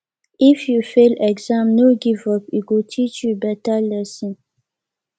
if you fail exam no give up e go teach you beta lesson